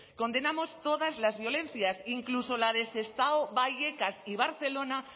condenamos todas las violencias incluso la de sestao vallecas y barcelona